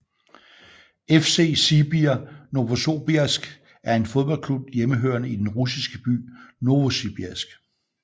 FC Sibir Novosobirsk er en fodboldklub hjemmehørende i den russiske by Novosibirsk